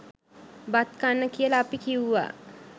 බත් කන්න කියල අපි කිව්වා.